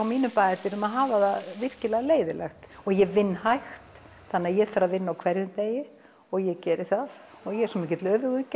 mínum bæjardyrum að hafa þetta virkilega leiðinlegt og ég vinn hægt þannig að ég þarf að vinna á hverjum degi og ég geri það og ég er svo mikill